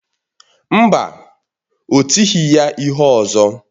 Mba, ọ tighị ya ihe ọzọ.